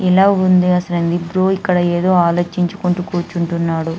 ఇలా ఉంది అసలు ఎందుకు బ్రో ఇక్కడ ఏదో ఆలోచించుకుంటూ కూర్చుంటున్నాడు.